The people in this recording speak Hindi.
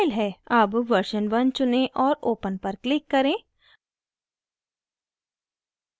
अब version one चुनें और open पर click करें